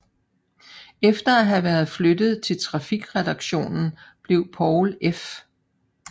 Efter at have været flyttet til trafikredaktionen blev Poul F